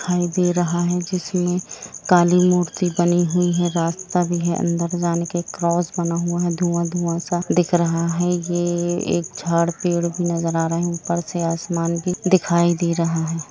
दिखाई दे रहा है जिसमे काली मूर्ति बानी हुई है रास्ता भी है अंदर जाने के क्रॉस बना हुआ हे दुआ दुआ सा दिख रहा है ये एक झाड़ पेड़ भी नज़र आ रहा है ऊपर से आसमान भी दिखाई दे रहा है।